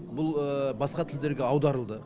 бұл басқа тілдерге аударылды